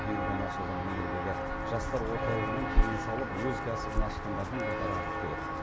биыл ғана ашылған өңірдегі жастар орталығынан кеңес алып өз кәсібін ашқандардың қатары артып келеді